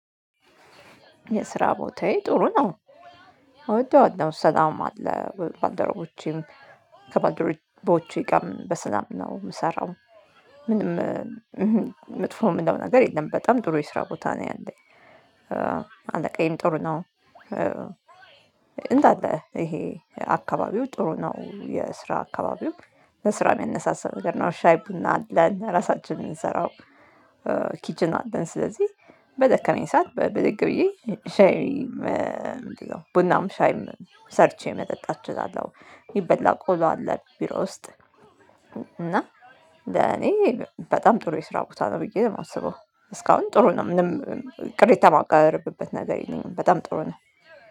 የስራ ቦታዬ ጥሩ ነው እወደዋለሁ ሰላም አለ ባልደረቦቼም ከባልደረቦቼ ግርም በሰላም ነው የምሰራው። ምንም መጥፎ የምለው ነገር የለም። በጣም ጥሩ የስራ ቦታ ነው ያለኝ። አለቃዬም ጥሩ ነው። እንዳለ ይሄ አካባቢው ጥሩ ነው የስራ አካባቢው በስራ የሚያነሳሳ ነገር ነው። ሻይ ቡና አለን ራሳችን የምንሰራው። ኪችን አለን ስለዚህ በደከመኝ ሰዓት በድግ ብዬ ሻይ ቡናም ሻይ ሰርቼ መጠጣት እችላለሁ። የሚበላ ቆሎ አለ ቢሮ ውስጥ። እና ለኔ በጣም ጥሩ የስራ ቦታ ነው ብዬ ነው የማስበው። እስካሁን ጥሩ ነው ምንም ቅሬታ የማቀርብበት ነገር የለኝም። በጣም ጥሩ ነው